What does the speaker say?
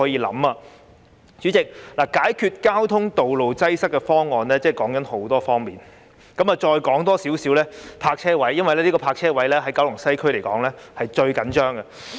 代理主席，解決道路擠塞的方案涉及很多方面，我再說一說關於泊車位的問題，因為泊車位的供應在九龍西區是最緊張的。